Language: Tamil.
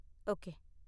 ஓகே